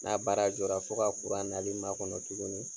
N'a baara jɔra fo ka kuran nali makɔnɔ tugunni.